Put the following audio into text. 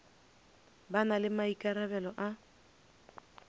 ba na le maikarabelo a